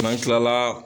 N'an kilala